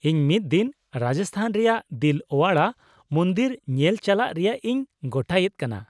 -ᱤᱧ ᱢᱤᱫ ᱫᱤᱱ ᱨᱟᱡᱚᱥᱛᱷᱟᱱ ᱨᱮᱭᱟᱜ ᱫᱤᱞ ᱳᱣᱟᱲᱟ ᱢᱚᱱᱫᱤᱨ ᱧᱮᱞ ᱪᱟᱞᱟᱜ ᱨᱮᱭᱟᱜ ᱤᱧ ᱜᱚᱴᱟᱭᱮᱫ ᱠᱟᱱᱟ ᱾